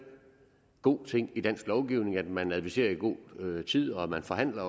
god ting i dansk lovgivning at man adviserer i god tid og at man forhandler